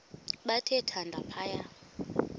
bathe thande phaya